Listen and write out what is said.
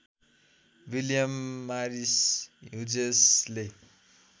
William Morris ह्युजेसले